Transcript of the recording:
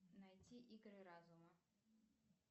найти игры разума